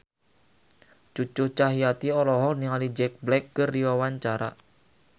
Cucu Cahyati olohok ningali Jack Black keur diwawancara